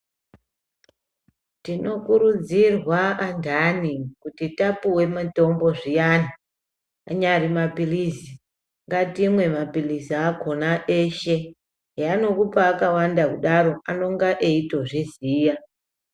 Tinokurudzirwa andani kuti tapuve mutombo zviyani anyari maphirizi. Ngatimwe maphirizi akona eshe zveanokupa akawanda kudaro anonga eitozviziya.